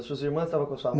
As suas irmãs estavam com sua